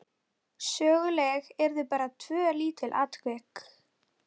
Og svo éta þeir á við hross!